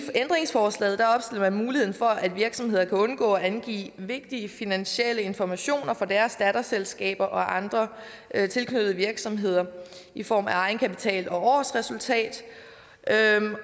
ændringsforslaget opstiller man muligheden for at virksomheder kan undgå at angive vigtige finansielle informationer om deres datterselskaber og andre tilknyttede virksomheder i form af egenkapital og årsresultat